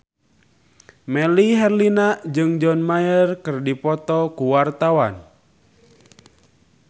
Melly Herlina jeung John Mayer keur dipoto ku wartawan